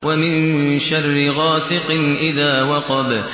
وَمِن شَرِّ غَاسِقٍ إِذَا وَقَبَ